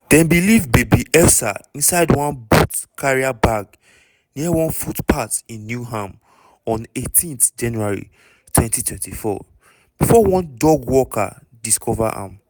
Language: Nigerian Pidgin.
dem bin leave baby elsa inside one boots carrier bag near one footpath in newham on 18 january 2024 bifor one dog walker discover am.